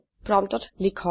প্ৰম্পটত লিখক